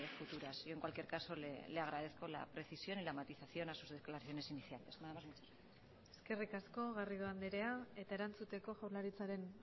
futuras yo en cualquier caso le agradezco la precisión y la matización a sus declaraciones iniciales nada más muchas gracias eskerrik asko garrido anderea eta erantzuteko jaurlaritzaren